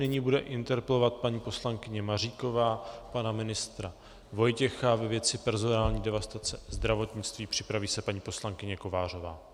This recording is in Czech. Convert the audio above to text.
Nyní bude interpelovat paní poslankyně Maříková pana ministra Vojtěcha ve věci personální devastace zdravotnictví, připraví se paní poslankyně Kovářová.